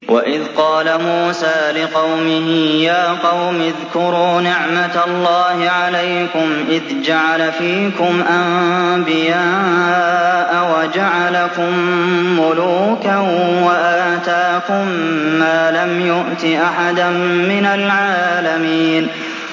وَإِذْ قَالَ مُوسَىٰ لِقَوْمِهِ يَا قَوْمِ اذْكُرُوا نِعْمَةَ اللَّهِ عَلَيْكُمْ إِذْ جَعَلَ فِيكُمْ أَنبِيَاءَ وَجَعَلَكُم مُّلُوكًا وَآتَاكُم مَّا لَمْ يُؤْتِ أَحَدًا مِّنَ الْعَالَمِينَ